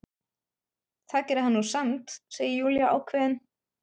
Það gerði hann nú samt, segir Júlía ákveðin.